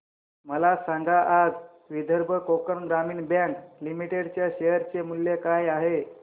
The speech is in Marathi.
मला सांगा आज विदर्भ कोकण ग्रामीण बँक लिमिटेड च्या शेअर चे मूल्य काय आहे